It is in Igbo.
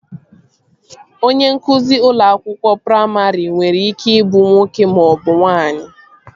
Onye nkụzi ụlọ akwụkwọ praimarị nwere ike ị bụ nwoke maọbụ nwaanyị